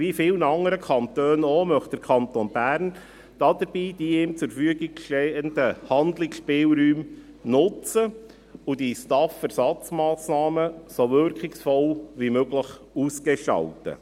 Wie viele andere Kantone auch, möchte der Kanton Bern dabei die ihm zur Verfügung stehenden Handlungsspielräume nutzen und die STAF-Ersatzmassnahmen so wirkungsvoll wie möglich ausgestalten.